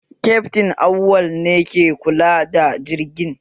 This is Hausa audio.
Kyaftin Awal ne ke kula da jirgin